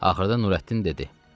Axırda Nürəddin dedi: